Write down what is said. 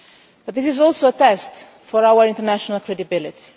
But this is also a test for our international credibility.